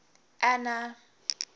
anna